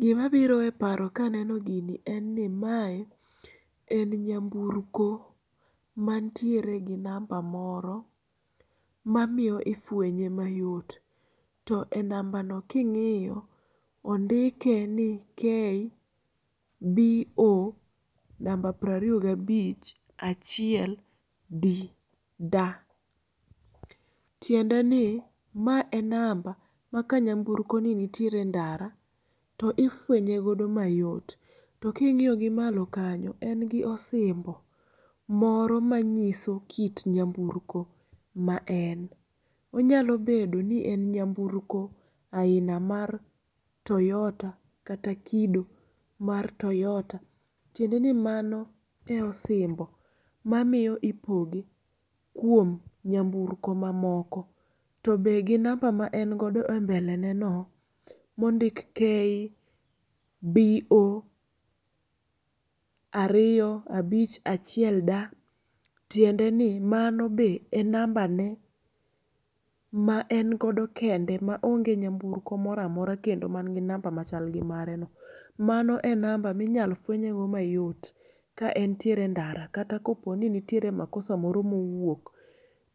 Gima biro eparo kaneno gini, enni mae en nyamburko mantiere gi namba moro mamiyo ifwenye mayot to e nambano king'iyo ondikeni KBO namba prariyogi abich achiel D da. Tiendeni mae enamba maka nyamburkoni nitiere endara to ifwenye godo mayot to king'iyogi malokanyo engi osimbo moro manyiso kit nyamburko ma en. Onyalo bedo ni en nyamburko aina mar toyota kata kido mar toyota. Tiendeni mano e osimbo mamiyo ipoge kuom nyamburko mamoko to be gi namba ma engo godo embeleneno mondik KBO ariyo abich achiel da tiendeni mano be e nambane ma en godo kende ma onge nyamburko moro amora kendo machalgi mareno. Mano be enamba minyal fwenyego mayot ka entiere endara kata kaponi nitiere makosa moro mowuok